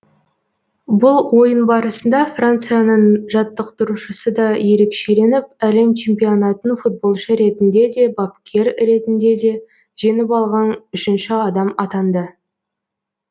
бұл ойын барысында францияның жаттықтырушысы да ерекшеленіп әлем чемпионатын футболшы ретінде де бапкер ретінде де жеңіп алған үшінші адам атанды